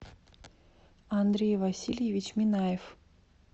андрей васильевич минаев